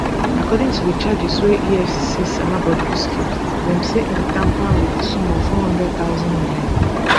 according to di charges wey efcc sama bobrisky dem say im tamper wit di sum of n400000